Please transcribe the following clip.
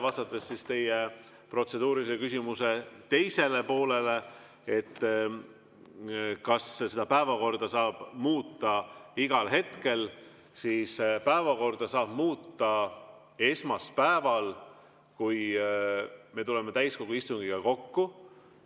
Vastates teie protseduurilise küsimuse teisele poolele, kas päevakorda saab muuta igal hetkel: päevakorda saab muuta esmaspäeval, kui me tuleme täiskogu istungile kokku.